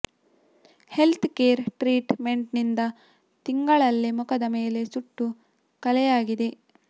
health care treatment ನಿಂದ ತಿಂಗಳಲ್ಲೇ ಮುಖದ ಮೇಲೆ ಸುಟ್ಟ ಕಲೆಯಾಗಿದೆ